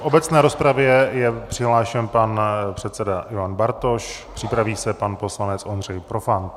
V obecné rozpravě je přihlášen pan předseda Ivan Bartoš, připraví se pan poslanec Ondřej Profant.